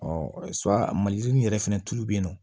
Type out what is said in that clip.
maliyirinin yɛrɛ fɛnɛ tulu be yen nɔ